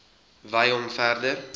wy hom verder